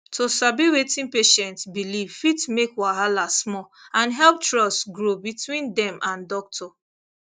to sabi wetin patient believe fit make wahala small and help trust grow between dem and doctor